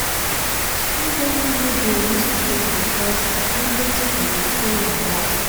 Students no de miss school because at ten dance for di school na must